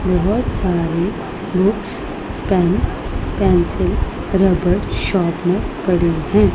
बहुत सारी books pen pencil रबड़ शार्पनर पड़ी हैं।